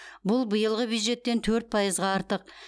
бұл биылғы бюджеттен төрт пайызға артық